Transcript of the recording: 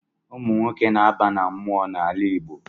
Ụmụ nwoke na-aba na mmụọ n’ala Igbo